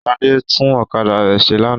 Ṣadé tún ọ̀kadà rẹ̀ ṣe lánàá.